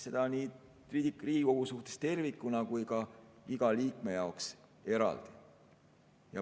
Seda nii Riigikogu suhtes tervikuna kui ka iga liikme jaoks eraldi.